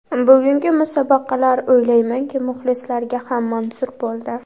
Bugungi musobaqalar o‘ylaymanki, muxlislarga ham manzur bo‘ldi.